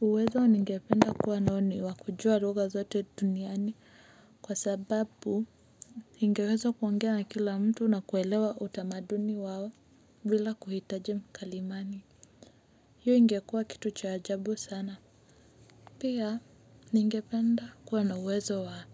Uwezo ningependa kuwa nao ni wa kujua rugha zote duniani kwa sababu ningeweza kuongea na kila mtu na kuelewa utamaduni wao bila kuhitaji mkalimani. Hiyo ingekua kitu cha ajabu sana. Pia ningependa kuwa na uwezo wa